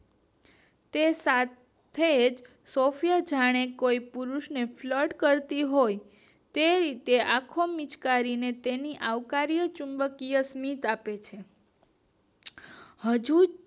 તે સાથેજ સફાયા જાણે કોઈ પુરુષ ને flute કરતી હોય તે રીતે આખો મિચકારીને તેની આખો તેની અવકારીય ચુંબકીય સ્મિત આપે છે